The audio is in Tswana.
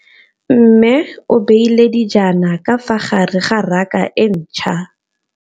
Mmê o beile dijana ka fa gare ga raka e ntšha.